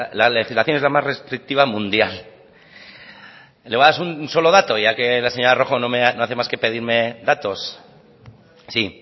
la legislación es la más restrictiva mundial y le voy a dar un solo dato ya que la señora rojo no hace más que pedirme datos sí